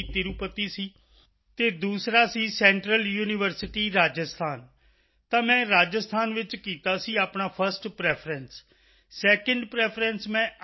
ਤਿਰੁਪਤੀ ਸੀ ਅਤੇ ਦੂਸਰਾ ਸੀ ਸੈਂਟਰਲ ਯੂਨੀਵਰਸਿਟੀ ਰਾਜਸਥਾਨ ਤਾਂ ਮੈਂ ਰਾਜਸਥਾਨ ਵਿੱਚ ਕੀਤਾ ਸੀ ਆਪਣਾ ਫਸਟ ਪ੍ਰੈਫਰੈਂਸ ਸੈਕਿੰਡ ਪ੍ਰੈਫਰੈਂਸ ਮੈਂ ਆਈ